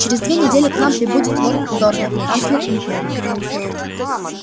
через две недели к нам прибудет лорд дорвин канцлер империи